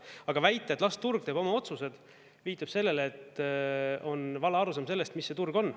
Aga väita, et las turg teeb oma otsused, viitab sellele, et on vale arusaam sellest, mis see turg on.